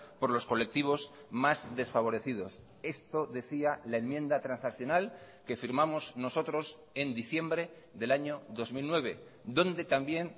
por los colectivos más desfavorecidos esto decía la enmienda transaccional que firmamos nosotros en diciembre del año dos mil nueve donde también